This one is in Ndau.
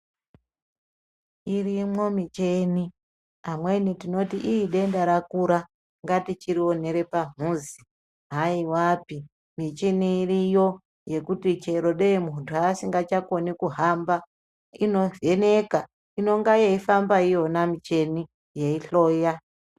Irimwo micheni amweni tinoti ii denda rakura ngatichirionera pamhuzi haiwapi micheni iriyo yekuti chero dei munthu asingachakoni kuhamba inovheneka inonga yeifamba iyona micheni yeihloya.